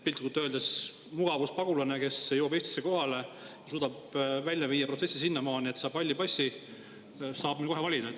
Piltlikult öeldes mugavuspagulane, kes jõuab Eestisse kohale ja suudab protsessi välja viia sinnamaani, et ta saab halli passi, võib minna kohe valima.